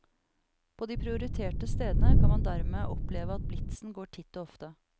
På de prioriterte stedene kan man dermed oppleve at blitzen går titt og ofte.